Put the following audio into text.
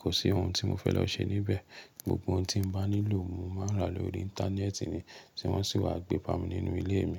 kò sí ohun tí mo fẹ́ lọ ṣe níbẹ̀. Gbogbo ohun tí mo bá nílò, mo máa ń rà lóri Íńtánẹ́ẹ̀tì ni, tí wọ́n sì wá gbé ba mi nínú ilé mi.